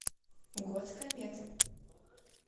год кометы